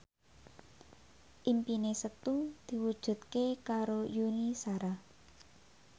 impine Setu diwujudke karo Yuni Shara